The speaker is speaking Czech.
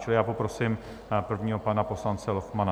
Čili já poprosím prvního, pana poslance Lochmana.